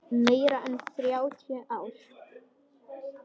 Meira en þrjátíu ár.